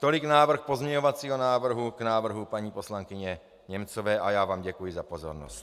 Tolik návrh pozměňovacího návrhu k návrhu paní poslankyně Němcové a já vám děkuji za pozornost.